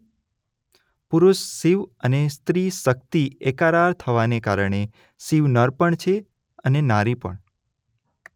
પુરુષ શિવ અને સ્ત્રી શક્તિ એકાકાર થવાને કારણે શિવ નર પણ છે અને નારી પણ